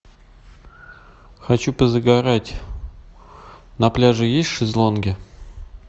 хочу позагорать на пляже есть шезлонги